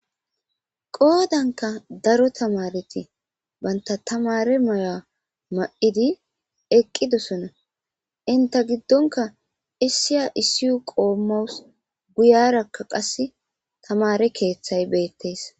Qoodanka daro tamareti banta tamare maya ma7idi eqqidosona inta giddonka issiya issiy qoommaus guyarakka qasse tamare keeththay beettees.